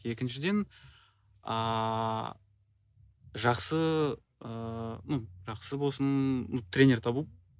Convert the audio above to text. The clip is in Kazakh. екіншіден ааа жақсы ыыы ну жақсы болсын тренер табу